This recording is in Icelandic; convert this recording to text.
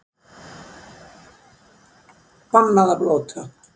Bannað að blóta